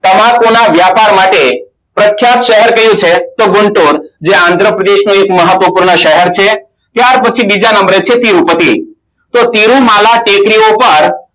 તમાકુના વ્યાપાર માટે પ્રથમ શહેર કયું છે તો બોલશો જે આંધ્રપ્રદેશ નો એક શહેર છે ત્યાર પછી બીજા નંબરે ખેતી ઉત્પત્તિ